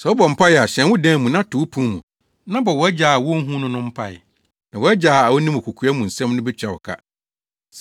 Sɛ wobɔ mpae a, hyɛn wo dan mu, na to wo pon mu, na bɔ wʼAgya a wonhu no no mpae, na wʼAgya a onim kokoa mu nsɛm no betua wo ka.